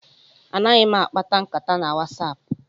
Anaghị m akpa nkata na WhatsApp.